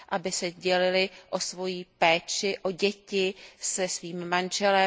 Aby se dělily o svou péči o děti se svým manželem.